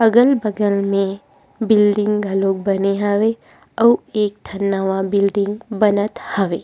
अगल-बगल में बिल्डिंग घलोक बने हवे अउ एक ठक नवा बिल्डिंग बनत हवे।